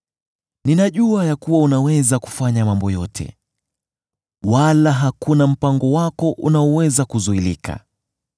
“Ninajua ya kuwa unaweza kufanya mambo yote, wala hakuna mpango wako unaoweza kuzuilika.